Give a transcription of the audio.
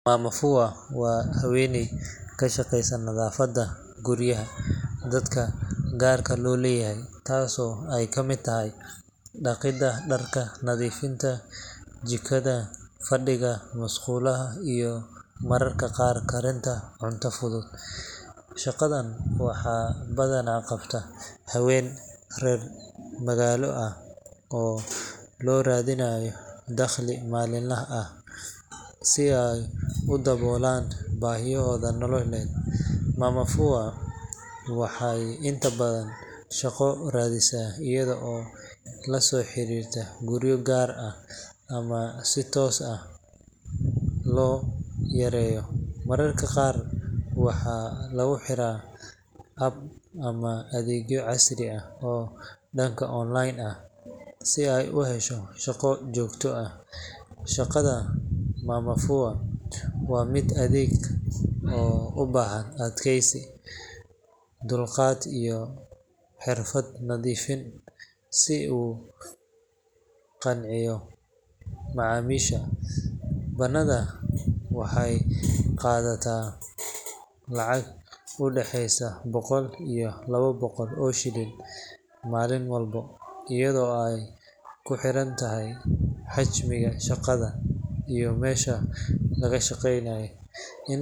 Mama fua waa haweeney ka shaqeysa nadaafadda guryaha dadka gaar loo leeyahay, taasoo ay ka mid tahay dhaqidda dharka, nadiifinta jikada, fadhiga, musqulaha iyo mararka qaar karinta cunto fudud. Shaqadan waxaa badanaa qabta haween reer magaalo ah oo raadinaya dakhli maalinle ah si ay u daboolaan baahiyahooda nololeed. Mama fua waxay inta badan shaqo raadisaa iyada oo la soo xiriirta guryo gaar ah ama si toos ah loogu yeero, mararka qaarna waxaa lagu xiraa app ama adeegyo casri ah oo dhanka online ah si ay u hesho shaqo joogto ah. Shaqada mama fua waa mid adag oo u baahan adkaysi, dulqaad iyo xirfad nadiifin si ay ugu qanciso macaamiisha. Badanaa waxay qaadataa lacag u dhaxeysa boqol iyo laba boqol oo shilin maalin walba, iyadoo ay ku xirantahay xajmiga shaqada iyo meesha laga shaqeynayo In.